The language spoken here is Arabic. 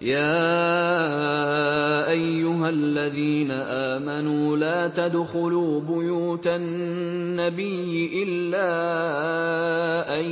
يَا أَيُّهَا الَّذِينَ آمَنُوا لَا تَدْخُلُوا بُيُوتَ النَّبِيِّ إِلَّا أَن